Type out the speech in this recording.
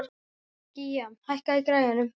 Gía, hækkaðu í græjunum.